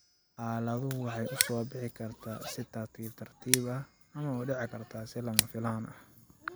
Xaaladdu waxay u soo bixi kartaa si tartiib tartiib ah ama u dhici karta si lama filaan ah.